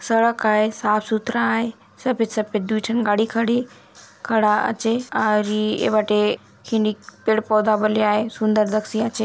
सड़क आय साफ -सुथरा आय सफ़ेद-सफ़ेद दुइ ठन गाड़ी खड़ी खड़ा आचे और ई बाटे खिंडीक पेड़-पौधा बले आय सुन्दर दखसि आचे।